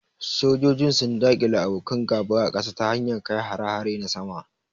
Sojojin sun daƙile abokan gaba a kasa ta hanyar kai hare-hare na sama.